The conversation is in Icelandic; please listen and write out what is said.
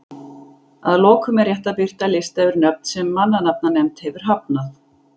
Að lokum er rétt að birta lista yfir nöfn sem mannanafnanefnd hefur hafnað.